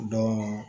Dɔn